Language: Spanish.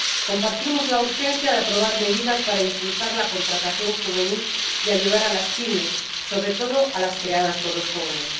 Compartimos la urgencia de aprobar medidas para impulsar la contratación juvenil y ayudar a las PYME, sobre todo a las creadas por los jóvenes.